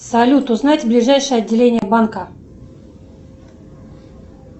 салют узнать ближайшее отделение банка